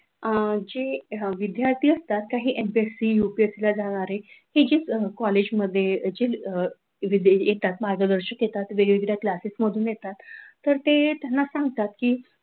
अ जे विद्यार्थी असतात ते काही एमपीएससी, यूपीएससी ला जाणारे, कॉलेजमध्ये जे येतात मार्गदर्शक येतात, वेगवेगळ्या क्लासेस मधून येतात तर ते त्यांना सांगतात की,